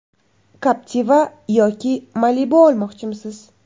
Captiva yoki Malibu olmoqchimisiz?